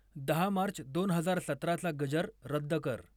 दहा मार्च दोन हजार सतराचा गजर रद्द कर.